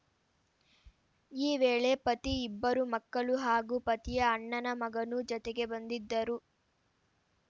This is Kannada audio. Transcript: ಈ ವೇಳೆ ಪತಿ ಇಬ್ಬರು ಮಕ್ಕಳು ಹಾಗೂ ಪತಿಯ ಅಣ್ಣನ ಮಗನೂ ಜತೆಗೆ ಬಂದಿದ್ದರು